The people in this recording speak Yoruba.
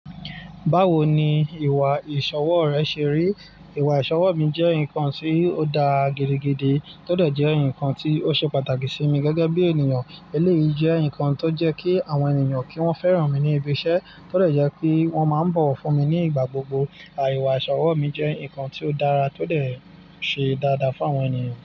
Báwo ni ìwà ìṣọwọ́ rẹ ṣe rí? Ìwà ìṣọwọ́ mi jẹ́ nǹkan tí ó da gidigidi, tó dẹ̀ jẹ́ nǹkan tí ó ṣe pàtàkì sí mi gẹ́gẹ́ bí ènìyàn. Eléyìí jẹ́ nǹkan tó jẹ́ kí àwọn ènìyàn kí wọ́n fẹ́ràn mi ní ibi iṣẹ́, tó dẹ̀ jẹ́ pé wọ́n máa ń bọ̀ wọ́n fún mi ní ìgbà gbogbo. À ìwà ìṣọwọ́ mi jẹ́ nǹkan tí ó dára, tó dẹ̀ ṣe dáadáa fún àwọn ènìyàn.